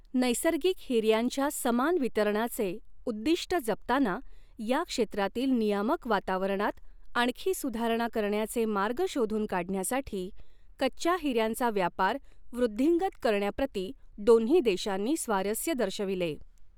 नैसर्गिक हिऱ्यांच्या समान वितरणाचे उद्दिष्ट जपताना या क्षेत्रातील नियामक वातावरणात आणखी सुधारणा करण्याचे मार्ग शोधून काढण्यासाठी कच्च्या हिऱ्यांचा व्यापार वृद्धिंगत करण्याप्रति दोन्ही देशांनी स्वारस्य दर्शविले.